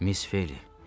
Miss Ophelia!